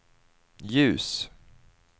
ljus